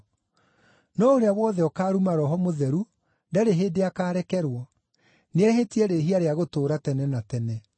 No ũrĩa wothe ũkaaruma Roho Mũtheru ndarĩ hĩndĩ akarekerwo, nĩehĩtie rĩĩhia rĩa gũtũũra tene na tene.”